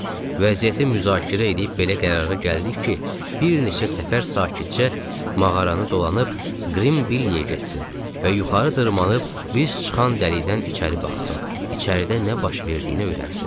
Vəziyyəti müzakirə eləyib belə qərara gəldik ki, bir neçə səfər sakitcə mağaranı dolanıb Qrim Billiyə getsin və yuxarı dırmaşıb biz çıxan dəlikdən içəri baxsın, içəridə nə baş verdiyini öyrənsin.